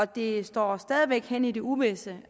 det står stadig hen i det uvisse